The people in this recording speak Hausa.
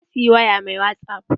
Na siyi waya mai wasup